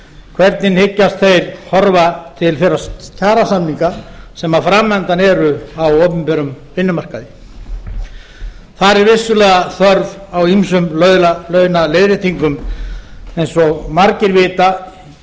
hvernig hyggjast þeir horfa til þeirra kjarasamninga sem fram undan eru á opinberum vinnumarkaði þar er vissulega þörf á ýmsum launaleiðréttingum eins og margir vita